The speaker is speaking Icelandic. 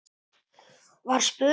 var spurt.